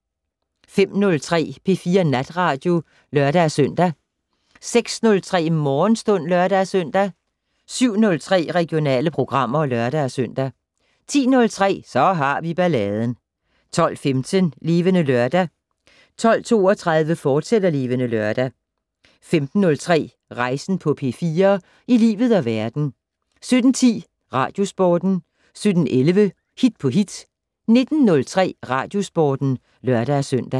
05:03: P4 Natradio (lør-søn) 06:03: Morgenstund (lør-søn) 07:03: Regionale programmer (lør-søn) 10:03: Så har vi balladen 12:15: Levende Lørdag 12:32: Levende Lørdag, fortsat 15:03: Rejsen på P4 - i livet og verden 17:10: Radiosporten 17:11: Hit på hit 19:03: Radiosporten (lør-søn)